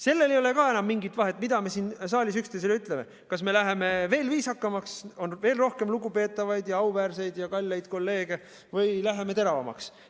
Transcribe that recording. Sellel ei ole ka enam mingit vahet, mida me siin saalis üksteisele ütleme, kas me läheme veel viisakamaks, on veel rohkem lugupeetavaid ja auväärseid ja kalleid kolleege, või läheme teravamaks.